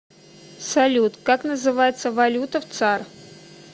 салют как называется валюта в цар